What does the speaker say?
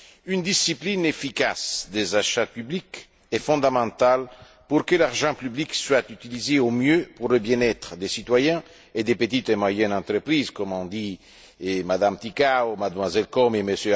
Une discipline efficace des achats publics est fondamentale pour que l'argent public soit utilisé au mieux pour le bien être des citoyens et des petites et moyennes entreprises, comme l'ont dit M me Ticǎu, Mlle Comi et M.